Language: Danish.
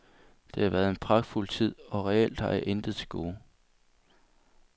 Det har været en pragtfuld tid, og reelt har jeg intet til gode.